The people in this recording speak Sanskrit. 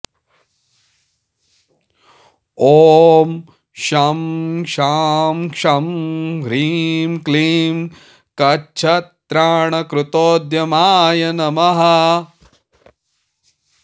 ॐ शं शां षं ह्रीं क्लीं कच्छत्राणकृतोद्यमाय नमः